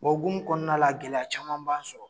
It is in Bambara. O hukumu kɔnɔna la gɛlɛya caman b'anw sɔrɔ